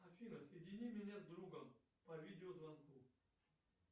афина соедини меня с другом по видеозвонку